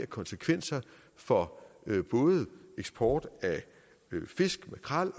konsekvenser for både eksport af fisk makrel